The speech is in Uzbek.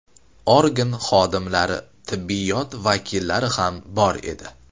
Organ xodimlari, tibbiyot vakillari ham bor edi.